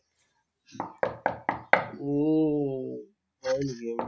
উম হয় নিকিন?